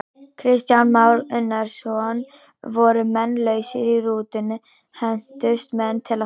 Kristján Már Unnarsson: Voru menn lausir í rútunni, hentust menn til og frá?